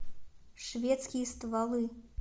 шведские стволы